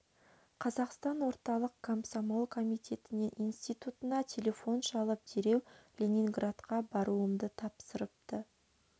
қазақстан орталық комсомол комитетінен институына телефон шалып дереу ленинградқа баруымды тапсырыпты